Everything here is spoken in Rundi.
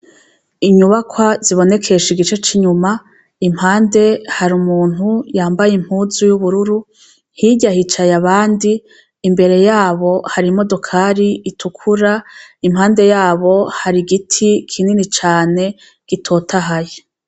Inyubakwa zibonekesha igice c'inyuma .impande hari umuntu yambaye impunzu y'ubururu ntijyahicaye abandi imbere yabo hari imodokari itukura impande yabo hari giti kinini cane gitotahaye.